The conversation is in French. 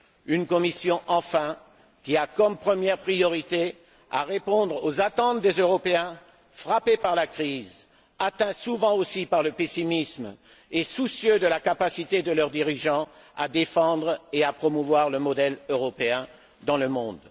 une Commission, enfin, qui a comme première priorité de répondre aux attentes des Européens frappés par la crise, souvent atteints aussi par le pessimisme et soucieux de la capacité de leurs dirigeants à défendre et à promouvoir le modèle européen dans le monde.